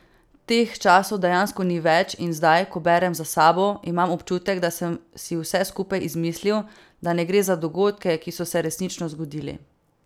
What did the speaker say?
Teh časov dejansko ni več in zdaj, ko berem za sabo, imam občutek, da sem si vse skupaj izmislil, da ne gre za dogodke, ki so se resnično zgodili.